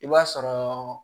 I b'a sɔrɔ